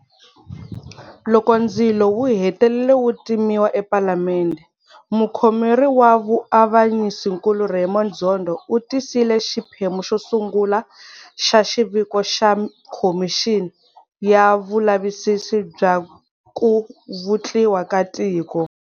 Loko ndzilo wu hetelele wu timiwa ePalamende, Mukhomeri wa vuavanyisinkulu Raymond Zondo u tisile xiphemu xo sungula xa xiviko xa Khomixini ya Vulavisisi bya ku Vutliwa ka Tiko.